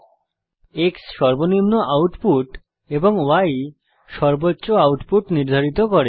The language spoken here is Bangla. X সর্বনিম্ন আউটপুট এবং Y সর্বোচ্চ আউটপুট নির্ধারিত করে